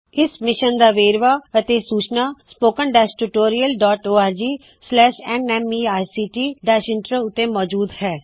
ਇਸ ਮਿਸ਼ਨ ਦਾ ਵੇਰਵਾ ਅਤੇ ਸੂਚਨਾ spoken tutorialorgnmeict ਇੰਟਰੋ ਉੱਤੇ ਮੌਜੂਦ ਹੈ